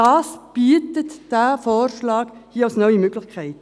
Das bietet dieser Vorschlag hier als neue Möglichkeit.